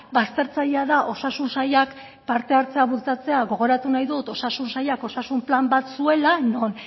baztertzailea da osasun sailak parte hartzea bultzatzea gogoratu nahi dut osasun sailak osasun plan bat zuela non